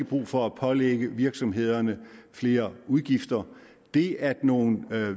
brug for at pålægge virksomhederne flere udgifter det at nogle